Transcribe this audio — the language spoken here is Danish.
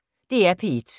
DR P1